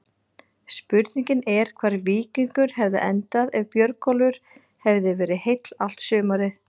Spurning er hvar Víkingur hefði endað ef Björgólfur hefði verið heill allt sumarið?